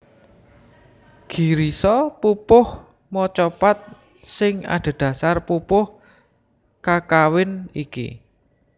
Girisa pupuh macapat sing adhedhasar pupuh kakawin iki